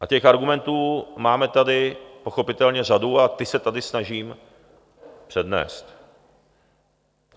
A těch argumentů máme tady pochopitelně řadu a ty se tady snažím přednést.